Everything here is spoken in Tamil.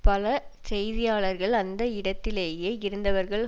பல செய்தியாளர்கள் அந்த இடத்திலேயே இருந்தவர்கள்